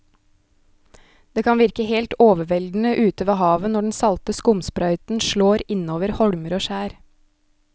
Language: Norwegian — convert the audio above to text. Det kan virke helt overveldende ute ved havet når den salte skumsprøyten slår innover holmer og skjær.